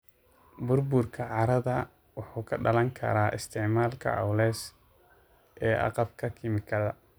Burburka carrada wuxuu ka dhalan karaa isticmaalka culus ee agabka kiimikada.